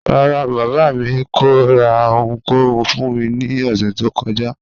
Ràrá, baba mi kò rà ọ̀hùnkòhùn fún mí ni òṣẹ tó kọ́jà